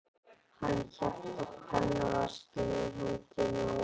Hann hélt á pennaveskinu í hendinni og áður en